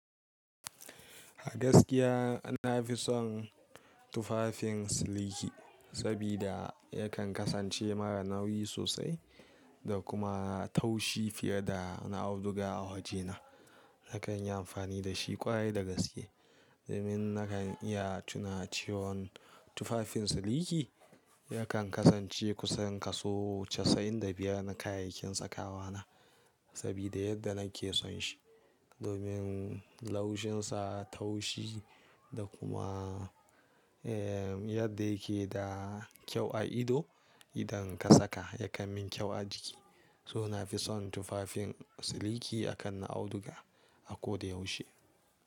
A gaskiya na fi son tufafin siliki saboda yakan kasance mara nauyi sosai da kuma taushi fiye da na auduga a wajena. Nakan yi amfani da shi kwarai da gaske. Domin nakan iya tuna cewon tufafin siliki, yakan kasance kusan kaso casa'in da biyar na kayayyakin sakawa na saboda yadda nake son shi. Domin laushinsa, taushi da kuma, eh yadda yake da kyau a ido. Idan ka saka yakan min kyau a jiki. To na fi son tufafin siliki akan na auduga a ko da yaushe.